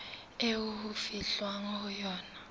eo ho fihlwang ho yona